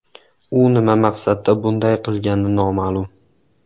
U nima maqsadda bunday qilgani noma’lum.